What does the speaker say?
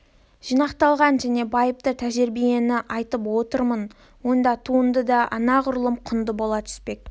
жинақталған және байыпты тәжірибені айтып отырмын онда туынды да анағұрлым құнды бола түспек